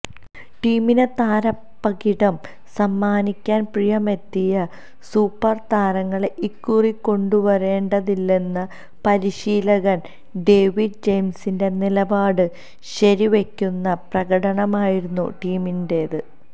ടീമിന് താരപ്പകിട്ടു സമ്മാനിക്കാൻ പ്രായമെത്തിയ സൂപ്പർ താരങ്ങളെ ഇക്കുറി കൊണ്ടുവരേണ്ടതില്ലെന്ന പരിശീലകൻ ഡേവിഡ് ജയിംസിന്റെ നിലപാട് ശരിവയ്ക്കുന്ന പ്രകടനമായിരുന്നു ടീമിന്റേത്